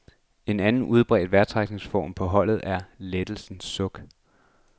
En anden, udbredt vejrtrækningsform på holdet er lettelsens suk.